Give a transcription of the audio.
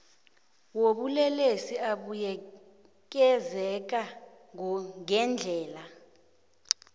wobulelesi abuyekezeka ngendlela